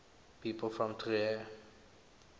people from trier